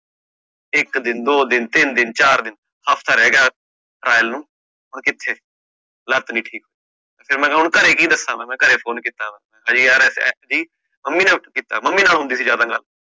ਇਕ ਦਿਨ, ਦੋ ਦਿਨ, ਤੀ ਨ ਦਿਨ, ਚਾਰ ਦਿਨ, ਹਫਤਾ ਰੇਹ ਗਯਾ trial ਨੂੰ ਹੁਣ ਕਿਥੇ, ਲੱਤ ਨੀ ਠੀਕ ਫੇਰ ਮੇ ਕਹ ਹੁਣ ਘਰੇ ਕਿ ਦਸ ਮੈਂ, ਮੈਂ ਘਰੇ phone ਕੀਤਾ ਮੈਂ ਮੰਮੀ ਨੇ ਉੱਠ ਕੀਤਾ, ਮੰਮੀ ਨਾਲ ਹੁੰਦੀ ਸੀ ਜਦ ਗੱਲ ਮੇਰੀ